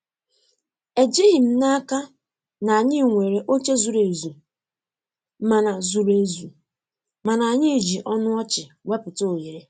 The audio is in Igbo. Ejighị m n'aka na anyị nwere oche zuru ezu, mana zuru ezu, mana anyị ji ọnụ ọchị wepụta ohere.